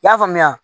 I y'a faamuya